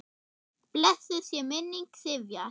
Blessuð sé minning Sifjar.